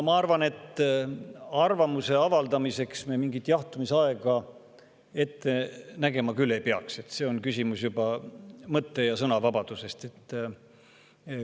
Ma arvan, et arvamuse avaldamiseks me mingit jahtumisaega küll ette nägema ei peaks, see on mõtte- ja sõnavabaduse küsimus.